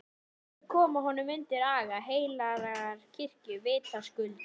Til þess að koma honum undir aga heilagrar kirkju, vitaskuld!